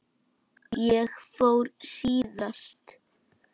Ég fór síðast.